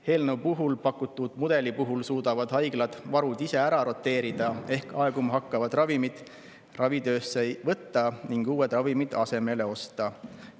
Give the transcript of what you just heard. Eelnõus pakutud mudeli puhul suudavad haiglad varud ise ära roteerida ehk aeguma hakkavad ravimid ravitöösse võtta ning uued ravimid asemele osta.